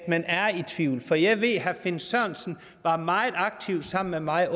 man er i tvivl for jeg ved at herre finn sørensen var meget aktiv sammen med mig